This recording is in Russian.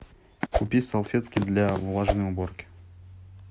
купи салфетки для влажной уборки